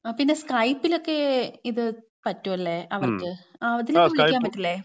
പിന്നെ സ്കൈപ്പിലൊക്കെ ഇത് പറ്റുംലേ, അവർക്ക്. ആ അതില് വിളിക്കാൻ പറ്റൂലെ?